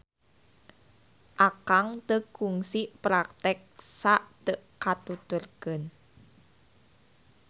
Akang teu kungsi praktek sa teu katuturkeun.